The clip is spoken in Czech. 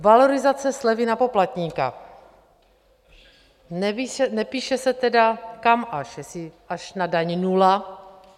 Valorizace slevy na poplatníka - nepíše se tedy kam až, jestli až na daň nula.